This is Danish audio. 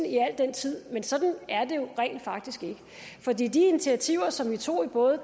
i al den tid men sådan er det jo rent faktisk ikke for de de initiativer som vi tog i både